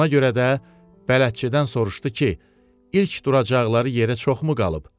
Ona görə də bələdçidən soruşdu ki, ilk duracaqları yerə çoxmu qalıb?